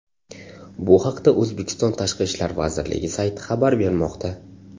Bu haqda O‘zbekiston Tashqi ishlar vazirligi sayti xabar bermoqda .